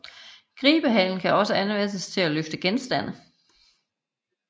Gribehalen kan også anvendes til at løfte genstande